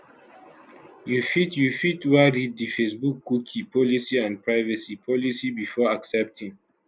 you fit you fit wan read di facebookcookie policyandprivacy policybefore accepting